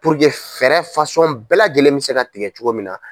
Puruke fɛɛrɛ bɛɛ lajɛlen bɛ se ka tigɛ cogo min na.